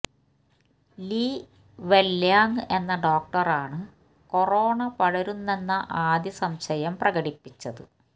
Lee Wenliang എന്ന ഡോക്ടറാണ് corona പടരുന്നെന്ന ആദ്യം സംശയം പ്രകടിപ്പിച്ചത്